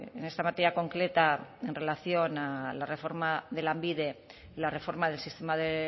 en esta materia concreta en relación a la reforma de lanbide la reforma del sistema de